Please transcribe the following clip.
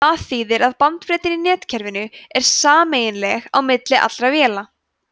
það þýðir að bandbreiddin í netkerfinu er sameiginleg á milli allra véla